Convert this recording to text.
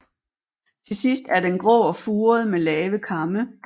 Til sidst er den grå og furet med lave kamme